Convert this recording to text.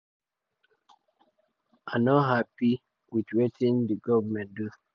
"i no um happy wit wetin wetin di govnor do.